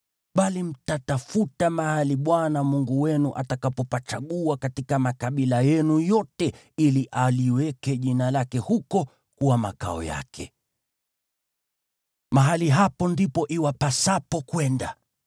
Bali mtatafuta mahali Bwana Mungu wenu atakapopachagua katika makabila yenu yote ili aliweke jina lake huko kuwa makao yake. Mahali hapo ndipo iwapasapo kwenda;